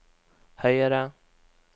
høyere